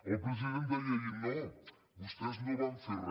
el president deia ahir no vostès no van fer re